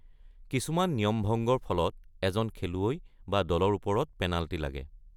কিছুমান নিয়মভঙ্গৰ ফলত এজন খেলুৱৈ বা দলৰ ওপৰত পেনাল্টি লাগে।